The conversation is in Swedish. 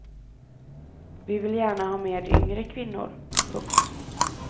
Vi vill gärna ha med yngre kvinnor. punkt